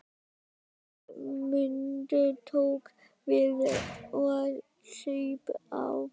Guðmundur tók við og saup á.